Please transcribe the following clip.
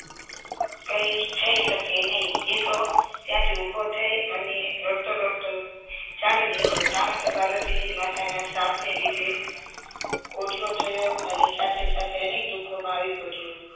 કઈ થઈ શકે નહીં એ તો ત્યાંથી ઉભો થઇ અને રડતો રડતો ચાલી નીકળ્યો ચાલી નીકળ્યો પાર્વતીજી માતાના શ્રાપ ના લીધે પાયો અને અનેક દુઃખો મા આવી પડ્યો